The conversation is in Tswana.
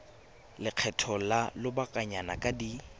lekgetho la lobakanyana di ka